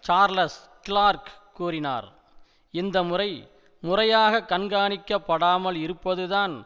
Charles Clarke கூறினார் இந்த முறை முறையாக கண்காணிக்கப்படாமல் இருப்பதுதான்